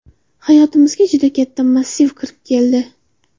Hayotimizga juda katta massiv kirib keldi.